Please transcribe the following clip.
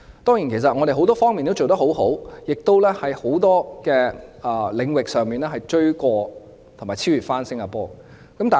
當然，我們很多方面都做得很好，在很多領域上亦超越新加坡。